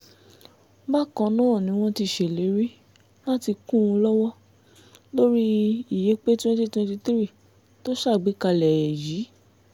bákan náà ni wọ́n ti ṣèlérí láti kún un lọ́wọ́ lórí ìyépé twenty twenty three tó ṣàgbékalẹ̀ ẹ̀ yìí